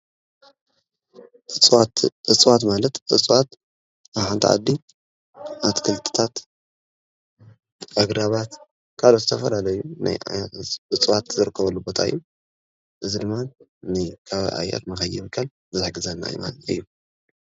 እፅዋት ማለት ዕፅዋት ኣብ ሓንቲ ዓዲ ኣትክልቲታት ኣግራባት ካልኦት ዝተፍላለዩ ናይ ዓይኒ እፅዋት ዝርከበሉ ቦታ እዩ። እዚ ድማ ከባቢ ኣየር ከይብከል ዝሕግዘና ማለት እዩ።